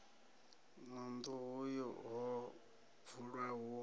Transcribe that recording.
na nḓuhu ho dzulwa hu